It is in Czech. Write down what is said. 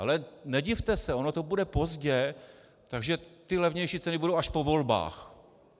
Ale nedivte se, ono to bude pozdě, takže ty levnější ceny budou až po volbách.